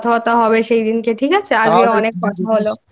কথা বার্তা হবে। সেদিন ঠিক আছে আজকে অনেক ভালো।